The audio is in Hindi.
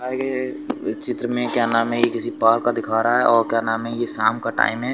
ए चित्र में क्या नाम है ये किसी पार्क का दिखा रहा है और क्या नाम है ये शाम का टाइम है।